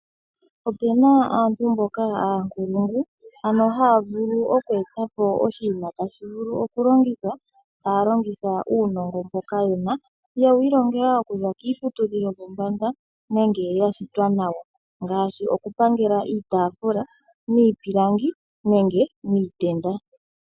Opuna aantu mboka oonkulungu, ano haya vulu oku etapo oshinima tashi vulu oku longithwa, taya longitha uunongo mboka yena, yewu ilongela okuza kiiputudhilo yopombanda nenge ya shitwa nawo, ngaashi oku pangela iitaafula miipilangi nenge miitenda.